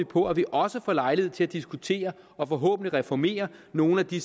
på at vi også får lejlighed til at diskutere og forhåbentlig reformere nogle af de